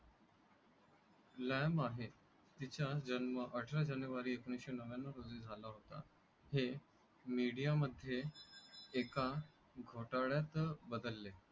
प्लाम आहे. तिचा जन्म अठरा जानेवारी एकोणीसशेनव्याण्णवमध्ये झाला होता, हे मिडिया मध्ये एका घोटाळ्यात बदलले.